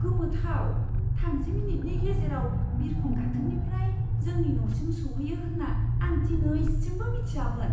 गोमोथाव! थामजि मिनिटनि गेजेराव बिरखं गाथोननिफ्राय जोंनि न'सिम सौहैयो होन्ना आं दिनैसिमबो मिथियामोन!